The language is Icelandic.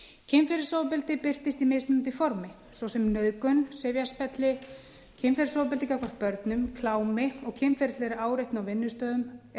kynferðisofbeldi birtist í mismunandi formi svo sem nauðgun sifjaspelli kynferðisofbeldi gagnvart börnum klámi og kynferðislegri áreitni á vinnustöðum eða